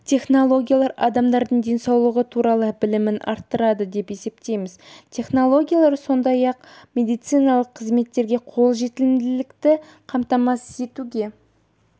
технологиялар адамдардың денсаулықтары туралы білімін арттырады деп есептейміз технологиялар сондай-ақ медициналық қызметтерге қолжетімділікті қамтамасыз етуге